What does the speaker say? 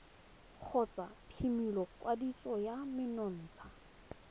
kgotsa phimola kwadiso ya menontsha